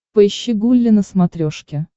поищи гулли на смотрешке